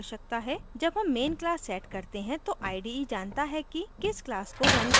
जब आप main class set करते हैं तो ide जानता है कि किस class को रन करना है जब आप project को रन करते हैं